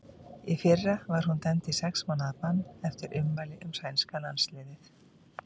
Í fyrra var hún dæmd í sex mánaða bann eftir ummæli um sænska landsliðið.